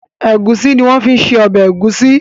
Egusi ní wón fí se obè egusi.